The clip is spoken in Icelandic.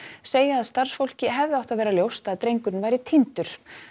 segja að starfsfólki hefði átt að vera ljóst að drengurinn væri týndur